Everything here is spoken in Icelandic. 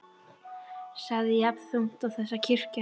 sagt jafn þungt og þessi kirkja hans.